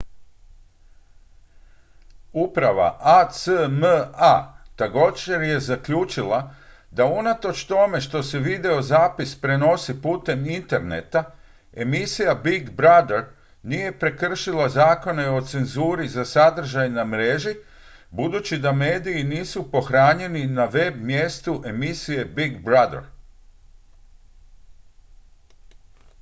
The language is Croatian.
uprava acma također je zaključila da unatoč tome što se videozapis prenosi putem interneta emisija big brother nije prekršila zakone o cenzuri za sadržaj na mreži budući da mediji nisu pohranjeni na web-mjestu emisije big brother